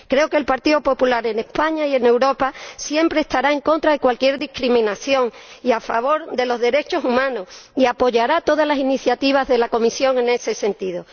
Creo que el Partido Popular en España y en Europa siempre estará en contra de cualquier discriminación y a favor de los derechos humanos, y apoyará todas las iniciativas de la Comisión en ese sentido.